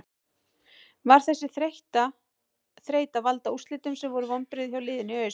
Var þessi þreyta að valda úrslitum sem voru vonbrigði hjá liðinu í haust?